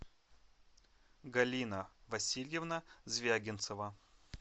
галина васильевна звягинцева